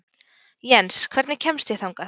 Jens, hvernig kemst ég þangað?